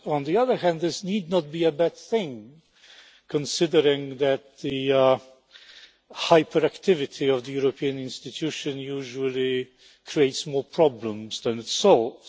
On the other hand, this need not be a bad thing, considering that the hyperactivity of the European institutions usually creates more problems than it solves.